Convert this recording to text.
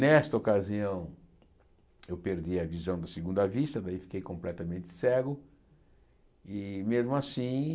Nesta ocasião, eu perdi a visão de segunda vista, daí fiquei completamente cego e, mesmo assim,